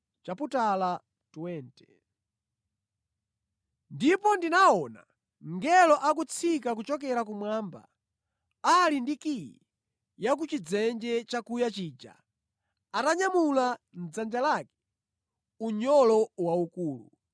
Ndipo ndinaona mngelo akutsika kuchokera kumwamba ali ndi kiyi ya ku chidzenje chakuya chija atanyamula mʼdzanja lake unyolo waukulu.